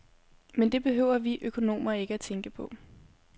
Men det behøver vi økonomer ikke tænke på.